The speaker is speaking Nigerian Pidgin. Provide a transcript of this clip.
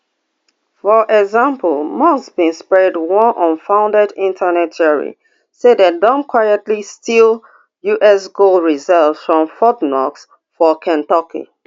for example musk bin spread one unfounded internet theory say dem don quietly steal us gold reserves from fort knox for kentucky